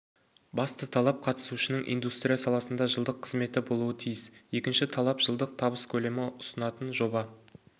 басты талап қатысушының индустрия саласында жылдық қызметі болуы тиіс екінші талап жылдық табыс көлемі ұсынатын жоба